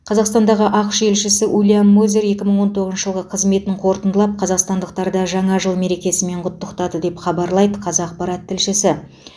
қазақстандағы ақш елшісі уильям мозер екі мың он тоғызыншы жылғы қызметін қорытындылап қазақстандықтарды жаңа жыл мерекесімен құттықтады деп хабарлайды қазақпарат тілшісі